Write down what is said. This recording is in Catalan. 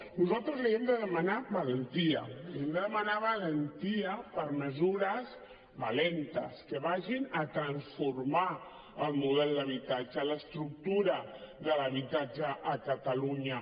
nosaltres li hem de demanar valentia li hem de demanar valentia per a mesures valentes que vagin a transformar el model d’habitatge l’estructura de l’habitatge a catalunya